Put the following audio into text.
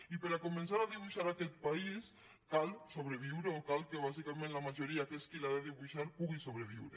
i per començar a dibuixar aquest país cal sobreviure o cal que bàsicament la majoria que és qui l’ha de dibuixar pugui sobreviure